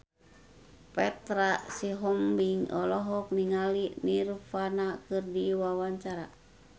Petra Sihombing olohok ningali Nirvana keur diwawancara